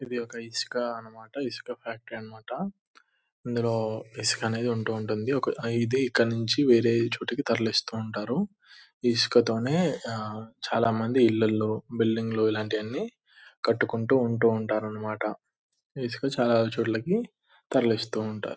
ఇది ఒక ఇసుక అన్నమాట. ఇసుక ఫ్యాక్టరీ అన్నమాట. ఇందులో ఇసుక అనేది ఉంటూ ఉంటుంది. ఒక ఇది ఇక్కడ్నించి వేరే చోటికి తరలిస్తూ ఉంటారు. ఈ ఇసుకతోనే ఆ చాలా మంది ఇల్లులు బిల్డింగ్ లు ఇలాంటివన్నీ కట్టుకుంటూ ఉంటారన్నమాట. ఈ ఇసుక చాలా చోట్లకి తరలిస్తూ ఉంటారు.